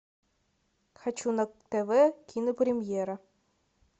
хочу на тв кинопремьера